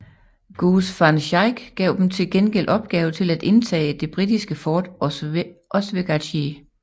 Goose van Schaick gav dem til gengæld opgave til at indtage det britiske fort Oswegatchee